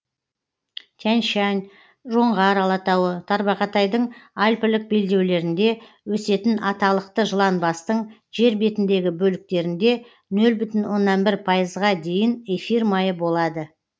тянь шань жоңғар алатауы тарбағатайдың альпілік белдеулерінде өсетін аталықты жыланбастың жер бетіндегі бөліктерінде нөл бүтін оннан бір пайызға дейін эфир майы болады